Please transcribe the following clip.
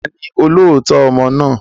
Ta ni olóòótọ́ ọmọ náà?